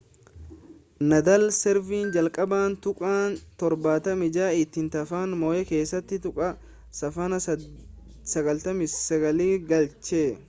naadaal servii jalqabaa tuqaa 76 ittiin tapha mo'e keessatti tuqaa saaphanaa 88% galche